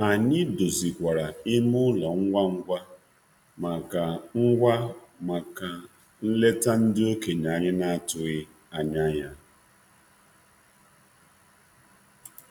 Anyị dozikwaru ime ụlọ ngwa ngwa maka nleta ndị okenye anyị na-atụghị anya ya.